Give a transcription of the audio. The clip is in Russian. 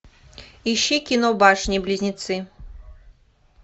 ищи кино башни близнецы